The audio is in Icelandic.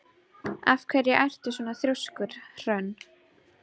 Af hverju ertu svona þrjóskur, Hrönn?